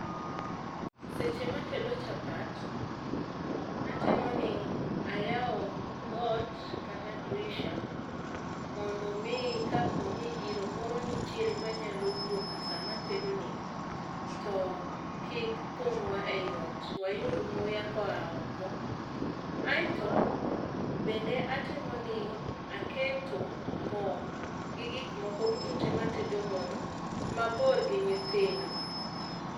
eseche ma atedo chapat atemo ni ayawo dhoot kata drisha mondo kapo ni iro moro nitiere manyalo wuok sama atedoni to kik thung'wa e ot, wayud muya koa oko. Aeto bende atemo ni aketo moo gi gik moko duto tee matedo godo mabor gi nyithindo.